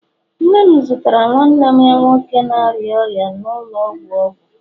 nne m zụtara nwanne ya nwoke na-arịa ọrịa nọ n'ụlọ ọgwụ, ọgwụ.